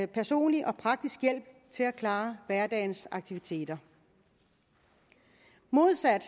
personlig og praktisk hjælp til at klare hverdagens aktiviteter modsat